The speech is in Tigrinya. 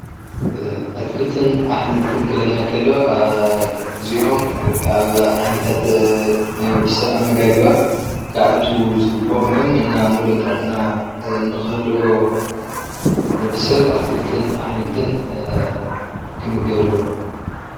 ኣትክልትን ኣሕምልትን ኽብለና ከሎ አ እዚኦም ናይ ካብ ዓይነታት ናይ ወድሰብ ኣመጋግባ ክኣትው ዝግቦኦም እዮም። ሙሉእ ጥዕና ንኽህልዎ ወድሰብ ኣትክልትን ኣሕምልትን ክምገብ አለዎ።